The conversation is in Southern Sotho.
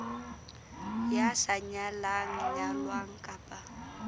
ya sa nyalang nyalwang kapa